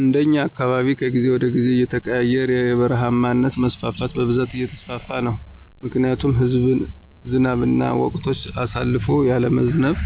እንደኛ አካባቢ ከጊዜ ወደ ጊዜ እየተቀያየረና የበረሃማነት መስፋፋት በብዛት እየተስፋፋ ነው ምክንያቱም ዝናብም ወቅቶችን አሳልፎ ያለመዝነብ፣